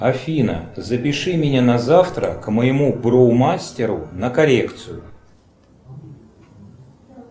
афина запиши меня на завтра к моему бру мастеру на коррекцию